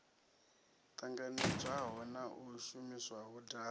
ṱanganedzwaho na yo shumiswaho davhi